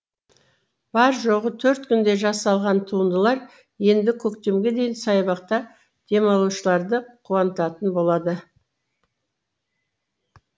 бар жоғы төрт күнде жасалған туындылар енді көктемге дейін саябақта демалушыларды қуантатын болады